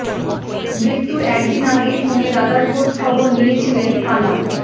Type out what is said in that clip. মৃত্যুর একদিন আগেই ফোনে দাদার খোঁজ খবর নিয়েছিলেন কালাম